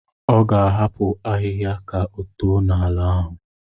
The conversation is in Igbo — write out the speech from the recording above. Ọ ga-ahapụ ahịhịa ka oto n'ala ahụ.